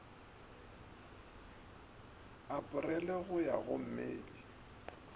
aporele go ya go mei